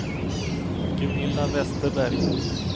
Gunilla Westerberg